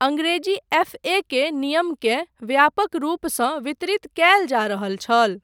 Angrezi F. A. के नियमकेँ व्यापक रूपसँ वितरित कयल जा रहल छल।